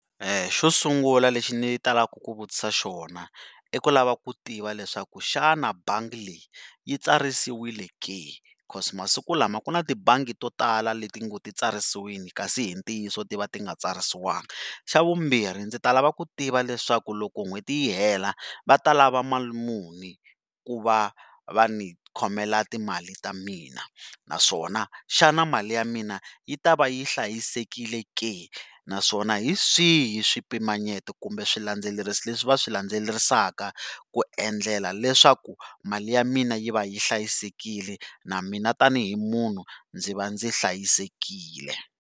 Xo sungula lexi ni talaka ku vutisa xona i ku lava ku tiva leswaku xana bangi leyi yi tsarisiwile ke? Cause masiku lama ku na tibangi to tala le ti ngo ti tsarisiwile kasi hi ntiyiso ti va ti nga tsarisiwangi. Xa vumbirhi, ndzi ta lava ku tiva leswaku loko n'hweti yi hela, va ta lava mali muni ku va va ni khomela timali ta mina naswona xana mali ya mina yi ta va yi hlayisekile ke naswona hi swihi swipimanyeto kumbe swilandzelerisi leswi va swi landzelerisaka ku endlela leswaku mali ya mina yi va yi hlayisekile na mina tanihi munhu ndzi va ndzi hlayisekile.